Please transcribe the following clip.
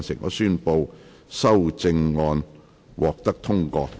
我宣布修正案獲得通過。